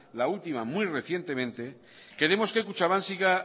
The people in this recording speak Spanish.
la última muy recientemente queremos que kutxabank siga